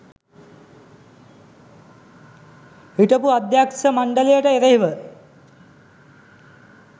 හිටපු අධ්‍යක්ෂ මණ්ඩලයට එරෙහිව